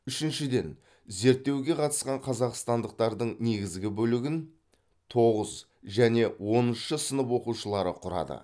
үшіншіден зерттеуге қатысқан қазақстандықтардың негізгі бөлігін тоғыз және оныншы сынып оқушылары құрады